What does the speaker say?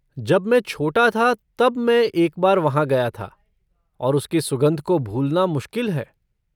जब मैं छोटा था तब मैं एक बार वहाँ गया था और उसकी सुगंध को भूलना मुश्किल है।